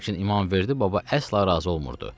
Lakin İmamverdi baba əsla razı olmurdu.